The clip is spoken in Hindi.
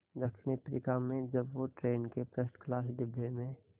दक्षिण अफ्रीका में जब वो ट्रेन के फर्स्ट क्लास डिब्बे में